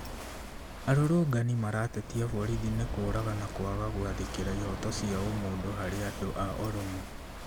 Arũrũnganĩ maratetia borithi nĩ kũraga na kwaga gwathĩkĩra ihoto cia wa ũmũndũ harĩ andũ a oromo